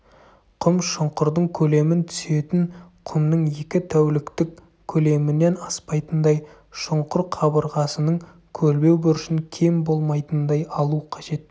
құм шұңқырдың көлемін түсетін құмның екі тәуліктік көлемінен аспайтындай шұңқыр қабырғасының көлбеу бұрышын кем болмайтындай алу қажет